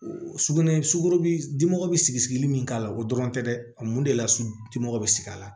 Sugunɛ sugoro dimi bi sigi sigili min k'a la o dɔrɔn tɛ dɛ a mun de la dimɔgɔ be sigi a la